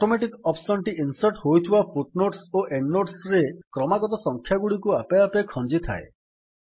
automatic option ଟି insert ହୋଇଥିବା footnotes ଓ ଏଣ୍ଡ୍ ନୋଟ୍ସ ରେ କ୍ରମାଗତ ସଂଖ୍ୟାଗୁଡିକୁ ଆପେ ଆପେ ଖଞ୍ଜିଥାଏ